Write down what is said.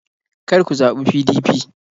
kar ku zaɓi PDP!